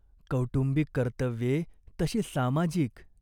कौटुंबिक कर्तव्ये तशी सामाजिक.